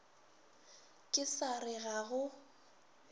ke sa re ga go